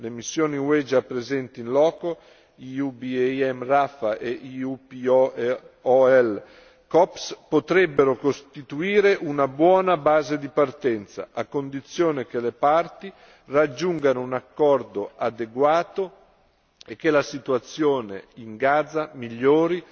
Le missioni UE già presenti in loco potrebbero costituire una buona base di partenza, a condizione che le parti raggiungano un accordo adeguato e che la situazione in Gaza migliori